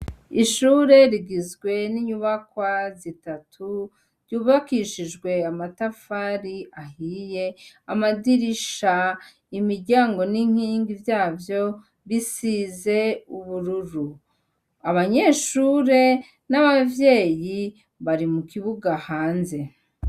Ishure rigizwe n'inyubakwa zitatu ryubakishijwe amatafari ahiye amadirisha imiryango n'inkingi vyavyo bisize ubururu, abanyeshure n'abavyeyi bari mu kibuga hanze.